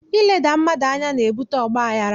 Ileda mmadụ anya na-ebute ọgbaghara